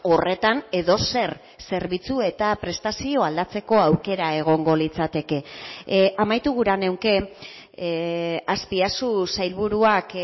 horretan edozer zerbitzu eta prestazio aldatzeko aukera egongo litzateke amaitu gura nuke azpiazu sailburuak